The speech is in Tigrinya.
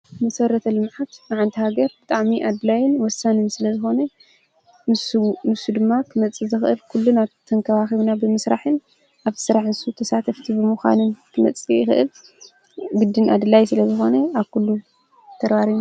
ምሠረት ኣልምዓት መዓንቲሃገር ብጥሚ ኣድላይን ወሳንን ስለ ዝኾነ ንሱ ድማ ኽመጽእ ዘኽእል ኲሉን ኣብ ተንከባኺቡና ብምሥራሕን ኣብ ሠራሕንሱ ተሳት ኣፍቲ ብምዃንን ክመጽ ኽእል ግድን ኣድላይ ስለ ዘኾነ ኣኲሉ ተርባረን